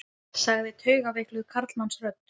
sagði taugaveikluð karlmannsrödd.